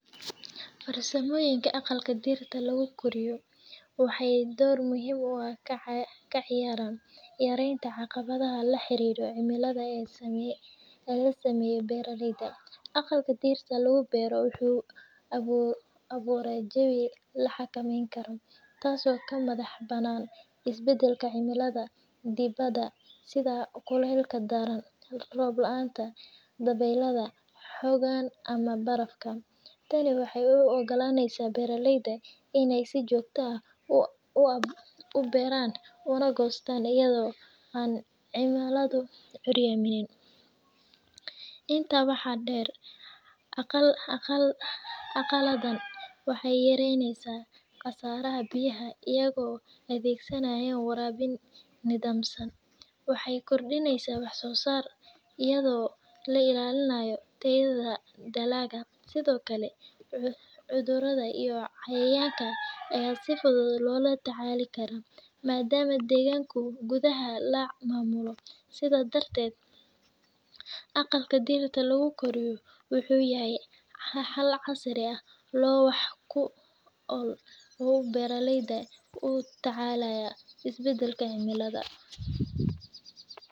Farsamoyinka aqalka darta lagu, waxay door muhiim u ah ka ciyaran maranta aqawadaha la xiriro cilimada samayo laga samayo baralayda aqalka dirta lagu baro wuxu lagu awuraya jawika la xagamaynikaro taas oo ka madax banan isbadalka cilimada dibada side kulalka daran roob lanta dawalada xogan ama barkan tani waxay u ogalaynasah baralayda inay sii jogtah ah u baran una gostan ayado ay, cilamadu curyamiya, inta waxa dar aqal aqaladan waxay yaraynasah qasaraha biyahada ayako adagsanayo warawin nadamsan, waxay gordinaysah wax sosar ayado la ilalinayo tayada dalka side okle curudada iyo cayayanka aya si fudud loo tacalikara, madama daganku gudaha laa mamuloh side dartad, aqalka dirta lagu goriyo wuxu yahay hal casariyah lowax lagu baro baralayda ku tacalaya si badalka cilimada.